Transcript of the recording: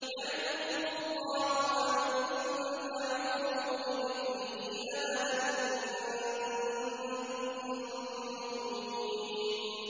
يَعِظُكُمُ اللَّهُ أَن تَعُودُوا لِمِثْلِهِ أَبَدًا إِن كُنتُم مُّؤْمِنِينَ